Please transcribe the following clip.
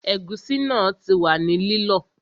Ẹ̀gúsí náà ti wà ní lílọ